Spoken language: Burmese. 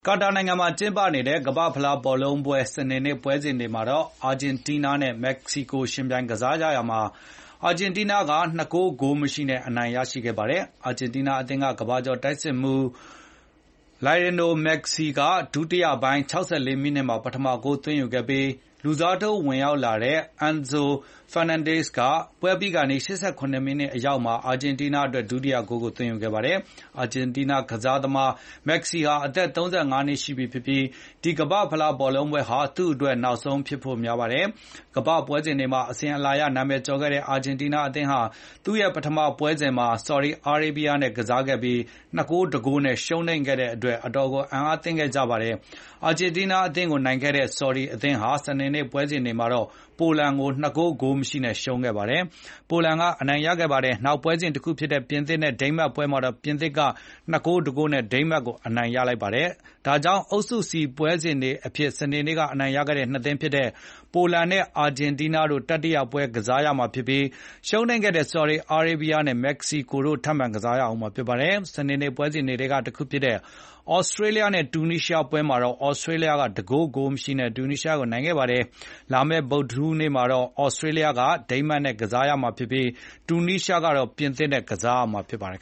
ကာတာနိုင်ငံမှာ ကျင်းပနေတဲ့ ကမ္ဘာ့ဖလားဘောလုံးပွဲ စနေနေ့ပွဲစဉ်တွေမှာတော့ အာဂျင်တီးနားနဲ့ မက္ကဆီကို ယှဉ်ပြိုင် ကစားကြရာမှာ အာဂျင်တီးနားက ၂ ဂိုး၊ ဂိုးမရှိနဲ့ အနိုင်ရခဲ့ပါတယ်။ အာဂျင်တီးနားအသင်းက ကမ္ဘာကျော်တိုက်စစ်မှုး Lionel Messi က ဒုတိယပိုင်း ၆၄ မီးနစ်မှာ ပထမဂိုးသွင်းယူခဲ့ပြီး၊ လူစားထိုးဝင်ရောက်လာတဲ့ Enzo Fernandez က ပွဲပြီးခါနီး ၈၇ မီးနစ်အရောက်မှာ အာဂျင်တီးနားအတွက် ဒုတိယ ဂိုးသွင်းယူခဲ့ပါတယ်။ အာဂျင်တီးနားကစားသမား Lionel Messi ဟာ အသက် ၃၅ နှစ်ရှိပြီဖြစ်ပြီး ဒီနှစ်ကမ္ဘာ့ဖလားဟာ သူ့အတွက်နောက်ဆုံး ပွဲဖြစ်ဖို့များပါတယ်။ ကမ္ဘာ့ပွဲစဉ်တွေမှာ အစဉ်အလာအရ နာမည်ကျော်ခဲ့တဲ့ အာဂျင်တီးနား အသင်းဟာ သူရဲ့ပထမပွဲစဉ်မှာ ဆော်ဒီအာရေးဗီးယားအသင်းကို ၂ ဂိုး၊ ၁ ဂိုးနဲ့ရှုံးခဲ့တဲ့အတွက် အတော်အံ့အားသင့်ခဲ့ကြပါတယ်။ အာဂျင်းတီးနားကိုနိုင်ခဲ့တဲ့ ဆော်ဒီအသင်းဟာ စနေနေ့ပွဲစဉ်မှာတော့ ပိုလန်ကို ၂ ဂိုး၊ ဂိုးမရှိနဲ့ ရှုံးခဲ့ပါတယ်။ ပိုလန်က အနိုင်ရခဲ့ပါတယ်။ နောက်ပွဲစဉ်တခုဖြစ်တဲ့ ပြင်သစ်နဲ့ ဒိန်းမတ်ပွဲမှာတော့ ပြင်သစ်က ၂ ဂိုး၊ ၁ ဂိုးနဲ့ ဒိန်းမတ်ကိုအနိုင်ရ လိုက်ပါတယ်။ ဒါကြောင့် အုပ်စု C ပွဲစဉ်တွေအဖြစ် စနေနေ့က အနိုင်ရခဲ့တဲ့ ၂ သင်းဖြစ်တဲ့ ပိုလန်နဲ့ အာဂျင်တီးနား တတိယပွဲ ကစားရမှာဖြစ်ပြီး၊ ရှုံးခဲ့တဲ့ ဆော်ဒီအာရေးဗီးယားနဲ့ မက္ကဆီကိုတို့ ထပ်မံ ကစားကြရမှာဖြစ်ပါတယ်။ စနေနေ့ပွဲစဉ်တွေထဲက တခုဖြစ်တဲ့ သြစတြေးလျနဲ့ တူနီးရှားပွဲမှာတော့ သြစတြေးလျက ၁ ဂိုး၊ ဂိုးမရှိနဲ့ အနိုင်ရခဲ့ပါတယ်။ လာမယ့် ဗုဒ္ဓဟူးနေ့မှာတော့ သြစတြေးလျ က ဒိန်းမတ်နဲ့ ကစားရမှာဖြစ်ပြီး၊ တူနီးရှားနဲ့ ပြင်သစ်တို့တွေ့ ကြမှာဖြစ်ပါတယ်